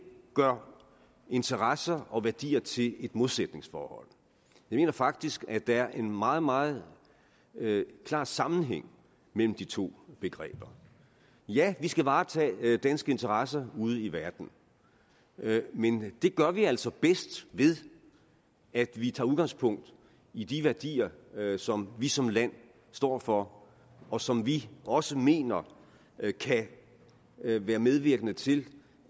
gør interesser og værdier til et modsætningsforhold jeg mener faktisk at der er en meget meget klar sammenhæng mellem de to begreber ja vi skal varetage danske interesser ude i verden men det gør vi altså bedst ved at vi tager udgangspunkt i de værdier som vi som land står for og som vi også mener kan være medvirkende til